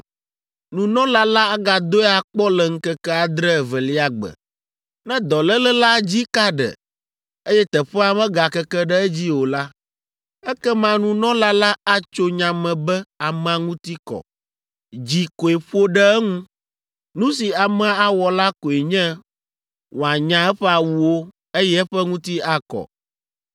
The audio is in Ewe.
Nunɔla la agadoe akpɔ le ŋkeke adre evelia gbe. Ne dɔléle la dzi ka ɖe, eye teƒea megakeke ɖe edzi o la, ekema nunɔla la atso nya me be amea ŋuti kɔ, dzi koe ƒo ɖe eŋu. Nu si amea awɔ la koe nye wòanya eƒe awuwo, eye eƒe ŋuti akɔ,